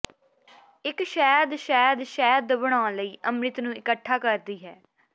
ਇੱਕ ਸ਼ਹਿਦ ਸ਼ਹਿਦ ਸ਼ਹਿਦ ਬਣਾਉਣ ਲਈ ਅੰਮ੍ਰਿਤ ਨੂੰ ਇਕੱਠਾ ਕਰਦੀ ਹੈ